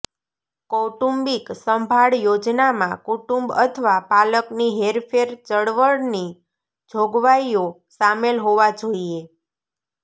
કૌટુંબિક સંભાળ યોજનામાં કુટુંબ અથવા પાલકની હેરફેર ચળવળની જોગવાઈઓ શામેલ હોવા જોઈએ